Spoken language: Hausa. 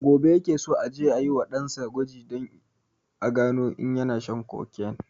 Gobe ya ke so aje a wa ɗan sa gwaji don a gano in yana shan cocaine